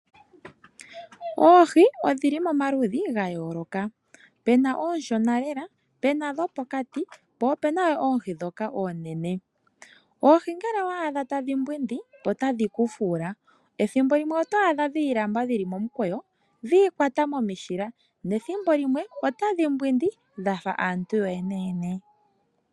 Oohi odhili momaludhi ga yooloka, puna oonshona lela, puna dhopokati, po opuna wo oohi ndhoka oonene. Oohi ngele owa adha tadhi mbwindi otadhi ku fuula, ethimbo limwe oto adha dhi ilamba dhili momukweyo, dhi ikwata momishila, nethimbo limwe otadhi mbwindi dhafa aantu yoyene yene.